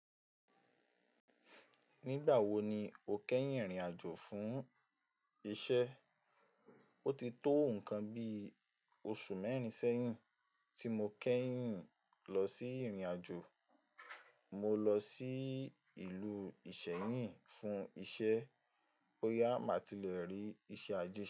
Nígbà wo ni o kẹ́yìn rìnrìn àjò fún iṣẹ́? O ti tó nǹkan bí oṣù mẹ́rin sẹ́yìn tí mo kẹ́yìn lọ sí ìrìn àjò. Mo lọ sí ìlú Ìsẹ́yìn fún iṣẹ́, boyá má ti lẹ rí iṣẹ́ àjẹ́ se.